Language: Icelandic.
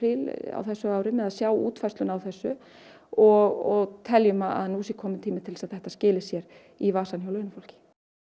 á þessu ári með að sjá útfærsluna á þessu og teljum að nú sé kominn tími til að þetta skili sér í vasann hjá launafólki